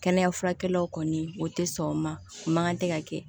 Kɛnɛya furakɛlaw kɔni o tɛ sɔn o ma o man kan tɛ ka kɛ